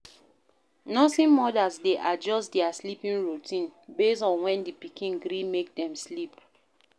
Nursing mothers de adjust their sleeping routine based on when di pikin gree make dem sleep